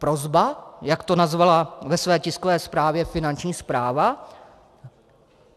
Prosba, jak to nazvala ve své tiskové zprávě Finanční správa?